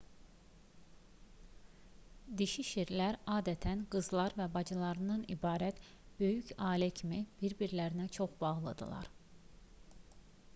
dişi şirlər adətən qızlar və bacılardan ibarət böyük ailə kimi bir-birlərinə çox bağlıdırlar